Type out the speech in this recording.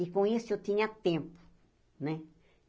E, com isso, eu tinha tempo, né?